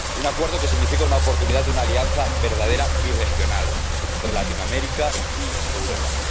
Un Acuerdo que significa la oportunidad de una alianza verdadera birregional entre Latinoamérica y Europa.